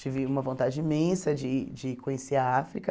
Tive uma vontade imensa de de conhecer a África.